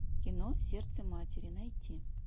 кино сердце матери найти